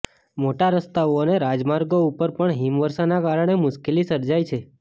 મોટા રસ્તાઓ અને રાજમાર્ગો ઉપર પણ હિમવર્ષાના કારણે મુશ્કેલી સર્જાઈ છે